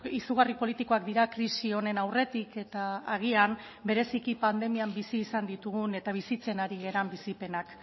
izugarri politikoak dira krisi honen aurretik eta agian bereziki pandemian bizi izan ditugun eta bizitzen ari garen bizipenak